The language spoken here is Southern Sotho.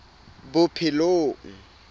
bophelong